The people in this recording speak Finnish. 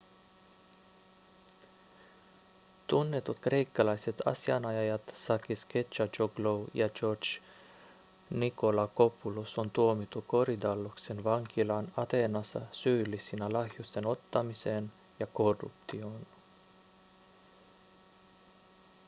tunnetut kreikkalaiset asianajajat sakis kechagioglou ja george nikolakopoulos on tuomittu korydalloksen vankilaan ateenassa syyllisinä lahjusten ottamiseen ja korruptioon